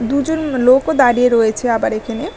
দুজন লোকও দাঁড়িয়ে রয়েছে আবার এখানে।